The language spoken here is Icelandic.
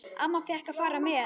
Amma fékk að fara með.